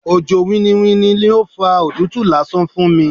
Òjò winniwinni ni ó fa òtútù lásán fún mi.